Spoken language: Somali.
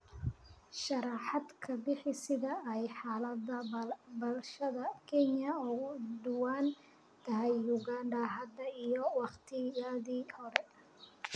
sharaxaad ka bixi sida ay xaalada bulshada Kenya uga duwan tahay Uganda hadda iyo waqtiyadii hore